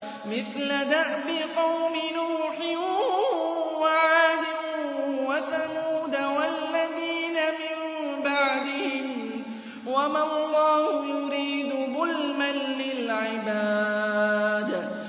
مِثْلَ دَأْبِ قَوْمِ نُوحٍ وَعَادٍ وَثَمُودَ وَالَّذِينَ مِن بَعْدِهِمْ ۚ وَمَا اللَّهُ يُرِيدُ ظُلْمًا لِّلْعِبَادِ